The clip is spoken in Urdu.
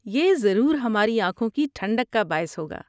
یہ ضرور ہماری آنکھوں کی ٹھنڈک کا باعث ہوگا۔